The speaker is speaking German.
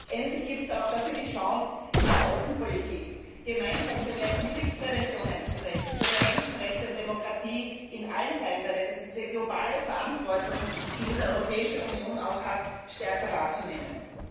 Endlich gibt es die Chance, in der Außenpolitik gemeinsam für mehr Konfliktprävention einzutreten, für mehr Menschenrechte und Demokratie in allen Teilen der Welt, also diese globale Verantwortung, die die Europäische Union hat, stärker wahrzunehmen.